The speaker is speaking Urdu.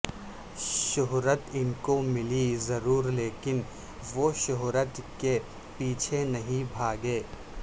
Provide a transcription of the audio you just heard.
شہرت انکو ملی ضرور لیکن وہ شہرت کے پیچھے نہیں بھاگے